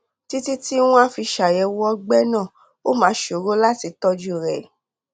títí tí wọn á fi ṣàyẹwò ọgbẹ náà ó máa ṣòro láti tọjú rẹ